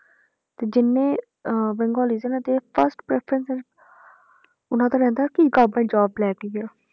ਤੇ ਜਿੰਨੇ ਅਹ ਬੇੰਗਾਲਿਸ ਹੈ ਨਾ ਉਹਨਾਂ ਦੀ first preference ਉਹਨਾਂ ਦਾ ਰਹਿੰਦਾ ਕਿ government job ਲੈਣੀ ਆ।